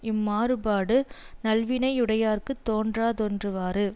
இம் மாறுபாடு நல்வினை யுடையார்க்குத் தோன்றாதொன்றுவாறு